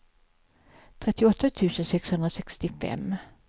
trettioåtta tusen sexhundrasextiofem